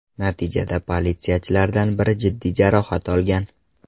Natijada politsiyachilardan biri jiddiy jarohat olgan.